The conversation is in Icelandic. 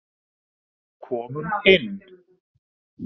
Komum inn!